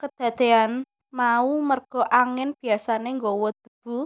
Kedadéan mau merga angin biasané nggawa debu